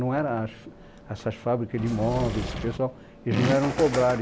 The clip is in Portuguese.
Não eram, essas fábricas de móveis, esse pessoal, eles não eram cobrados.